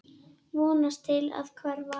Vonast til að hverfa.